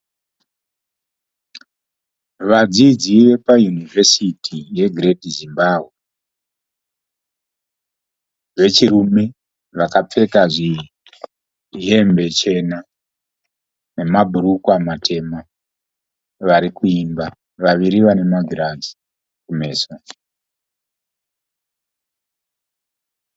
Vadzidzi vepa University ye Great Zimbabwe vechirume vakapfeka hembe chena nema bhurukwa matema varikuimba . Vaviri vana magirazi kumeso.